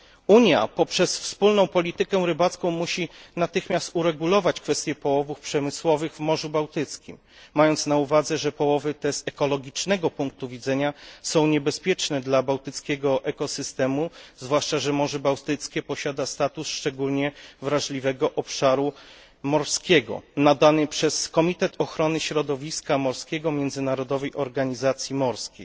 Unia poprzez wspólną politykę rybacką musi natychmiast uregulować kwestię połowów przemysłowych w Morzu Bałtyckim, mając na uwadze, że połowy te z ekologicznego punktu widzenia są niebezpieczne dla bałtyckiego ekosystemu, zwłaszcza że Morze Bałtyckie posiada status szczególnie wrażliwego obszaru morskiego nadany przez Komitet Ochrony Środowiska Morskiego Międzynarodowej Organizacji Morskiej